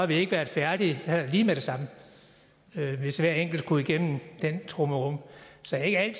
vi ikke været færdige her lige med det samme hvis hver enkelt skulle igennem den trummerum så jeg